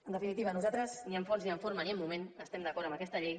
en definitiva nosaltres ni en fons ni en forma ni en moment estem d’acord amb aquesta llei